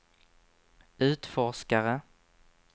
utforskare